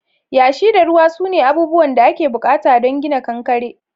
Yashi da ruwa sune abubuwan da ake bukata don gina kankare.